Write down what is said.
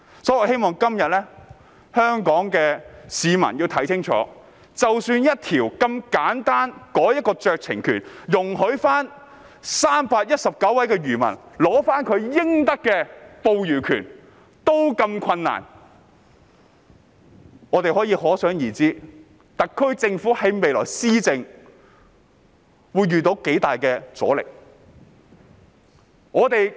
因此，我希望香港市民今天要看清楚，即使只是一項有關酌情權的簡單條文，容許319位漁民取回應得的捕魚權也這麼困難，可想而知特區政府未來施政會遇到多麼大的阻力。